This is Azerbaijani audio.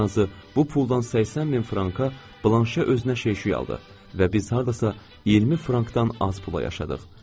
Ən azı bu puldan 80 min franka blanşe özünə şey-şüy aldı və biz hardasa 20 frankdan az pula yaşadıq.